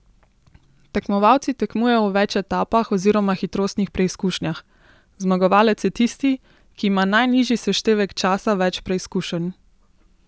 Tekmovalci tekmujejo v več etapah oziroma hitrostnih preizkušnjah, zmagovalec je tisti, ki ima najnižji seštevek časa več preizkušenj.